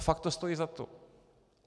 A fakt to stojí za to!